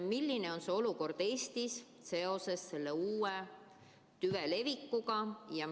Milline on olukord Eestis seoses selle uue tüve levikuga?